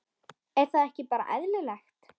Er það ekki bara eðlilegt?